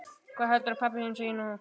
Hvað heldurðu að pabbi þinn segi nú?